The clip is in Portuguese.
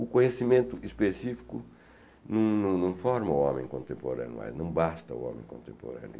O conhecimento específico não não forma o homem contemporâneo mais, não basta o homem contemporâneo.